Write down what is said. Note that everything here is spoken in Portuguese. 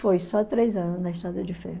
Foi, só três anos na estrada de ferro.